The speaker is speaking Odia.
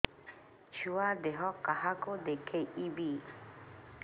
ଛୁଆ ଦେହ କାହାକୁ ଦେଖେଇବି